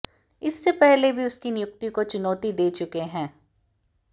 इससे पहले भी उनकी नियुक्ति को चुनौती दे चुके हैं